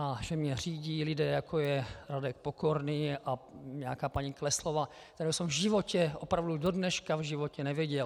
A že mě řídí lidé, jako je Radek Pokorný a nějaká paní Kleslová, které jsem v životě, opravdu do dneška v životě neviděl.